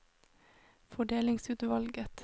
fordelingsutvalget